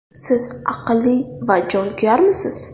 Siz aqlli va jonkuyarmisiz?